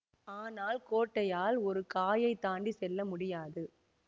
ஆனால் கோட்டையால் ஒரு காயைத் தாண்டி செல்ல முடியாது